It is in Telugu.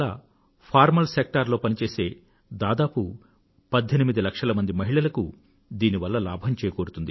ఫార్మల్ సెక్టార్ లో పనిచేసే దాదాపు 18 లక్షల మంది మహిళలకు దీని వల్ల లాభం చేకూరుతుంది